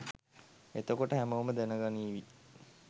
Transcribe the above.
එතකොට හැමෝම දැනගනීවි